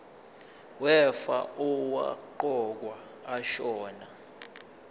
wefa owaqokwa ashona